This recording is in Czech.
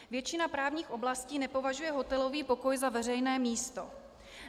Většina právních oblastí nepovažuje hotelový pokoj za veřejné místo.